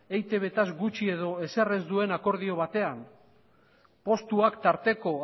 eitbtaz gutxi edo ezer ez duen akordio batean postuak tarteko